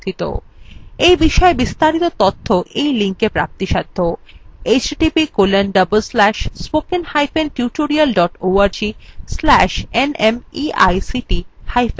এই বিষয় বিস্তারিত তথ্য এই লিঙ্কএ প্রাপ্তিসাধ্য